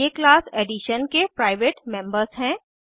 ये class edition के private members हैं